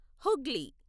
Hooghly